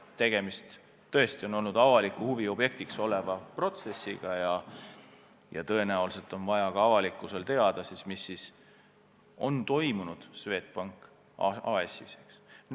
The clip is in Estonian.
Tegemist on tõesti avalikkusele huvi pakkuva protsessiga ja tõenäoliselt on vaja ka avalikkusel teada, mis Swedbank AS-is toimunud on.